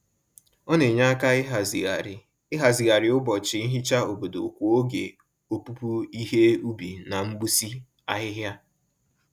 Ọ na-enye aka ịhazigharị ịhazigharị ụbọchị nhicha obodo kwa oge opupu ihe ubi na mgbụsị ahịhịa.